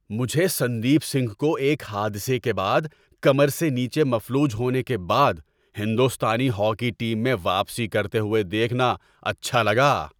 مجھے سندیپ سنگھ کو ایک حادثے کے بعد کمر سے نیچے مفلوج ہونے کے بعد ہندوستانی ہاکی ٹیم میں واپسی کرتے ہوئے دیکھنا اچھا لگا۔